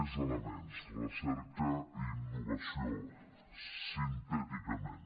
més elements recerca i innovació sintèticament